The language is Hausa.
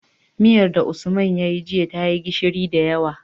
Miyar da usman yayi jiya tayi gishiri da yawa